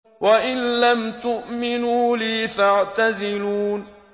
وَإِن لَّمْ تُؤْمِنُوا لِي فَاعْتَزِلُونِ